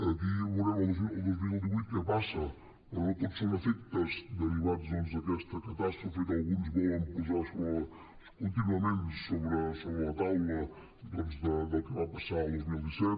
aquí veurem el dos mil divuit què passa però no tot són efectes derivats doncs d’aquesta catàstrofe que alguns volen posar contínuament sobre la taula del que va passar el dos mil disset